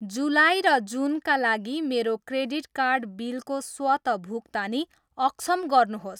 जुलाई र जुनका लागि मेरो क्रेटिट कार्ड बिलको स्वत भुक्तानी अक्षम गर्नुहोस्।